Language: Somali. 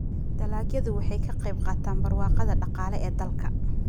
dalagyadu waxay ka qayb qaataan barwaaqada dhaqaale ee dalka.